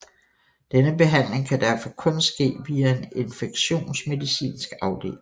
Denne behandling kan derfor kun ske via en infektionsmedicinsk afdeling